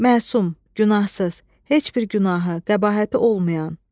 Məsum, günahsız, heç bir günahı, qəbahəti olmayan.